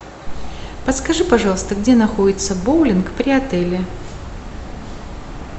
подскажи пожалуйста где находится боулинг при отеле